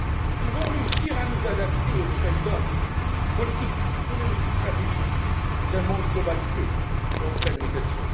Nous devons réussir à nous adapter aux nouvelles donnes politiques économiques, stratégiques d'un monde globalisé et en pleine mutation.